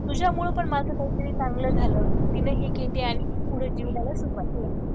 तुझ्यामुळे पण माझं काही तरी चांगलं झालं तिने हे घेत आणि पुढे जीवनाला सुरुवात करते.